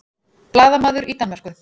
Blaðamaður í Danmörku